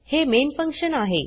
हे main function आहे